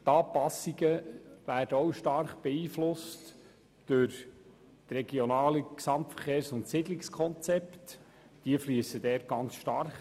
Die Anpassungen werden auch stark durch die Regionalen Gesamtverkehrs- und Siedlungskonzepte beeinflusst.